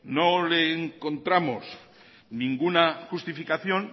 no le encontramos ninguna justificación